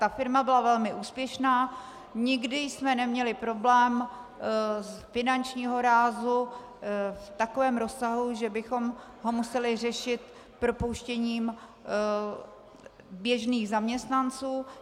Ta firma byla velmi úspěšná, nikdy jsme neměli problém finančního rázu v takovém rozsahu, že bychom ho museli řešit propouštěním běžných zaměstnanců.